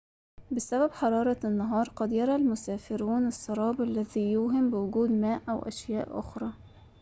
بسبب حرارة النهار، قد يرى المسافرون السراب الذي يوهم بوجود الماء أو أشياء أخرى